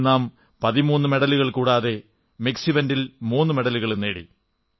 ഇതിൽ നാം 13 മെഡലുകൾ കൂടാതെ മിക്സ് ഇവന്റിൽ 3 മെഡലുകളും നേടി